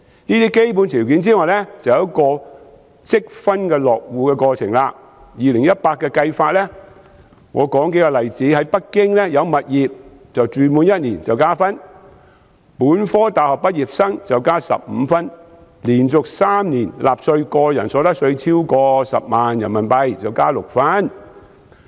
這些基本條件外，還有一個積分落戶的過程，就2018年的計算方法，我列舉數個例子：在北京有物業及住滿1年加1分，本科大學畢業生加15分，連續3年納稅、個人所得納稅額超過10萬元人民幣加6分。